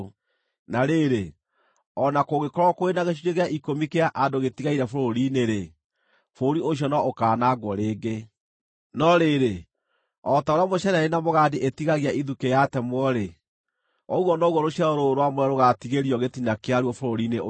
Na rĩrĩ, o na kũngĩkorwo kũrĩ na gĩcunjĩ gĩa ikũmi kĩa andũ gĩtigaire bũrũri-inĩ-rĩ, bũrũri ũcio no ũkaanangwo rĩngĩ. No rĩrĩ, o ta ũrĩa mũceneni na mũgandi ĩtigagio ithukĩ yatemwo-rĩ, ũguo noguo rũciaro rũrũ rwamũre rũgaatigario gĩtina kĩaruo bũrũri-inĩ ũcio.”